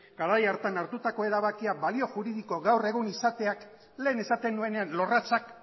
garai hartan hartutako erabakia balio juridiko gaur egun izateak lehen esaten nuenean lorratzak